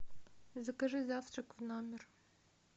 закажи завтрак в номер